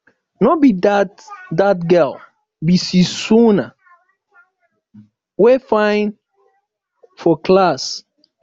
no be dat dat girl be susan wey fine for class